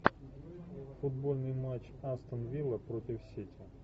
футбольный матч астон вилла против сити